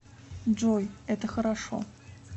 джой это хорошо